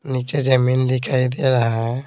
नीचे जमीन दिखाई दे रहा --